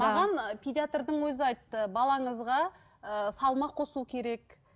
маған ы педиатрдың өзі айтты балаңызға ыыы салмақ қосу керек